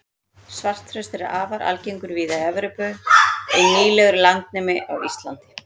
svartþröstur er afar algengur víða í evrópu en nýlegur landnemi á íslandi